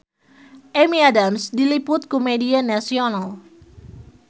Amy Adams diliput ku media nasional